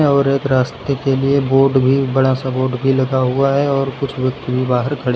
और एक रास्ते के लिए बोर्ड भी बड़ा सा बोर्ड भी लगा हुआ है और कुछ व्यक्ति भी बाहर खड़े--